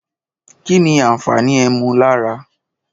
Kínì àfàni ẹmú làrá?